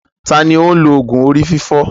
Ta ni ó ń lo òògùn orí fífọ́?